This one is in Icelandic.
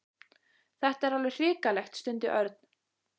Þetta er alveg hrikalegt stundi Örn.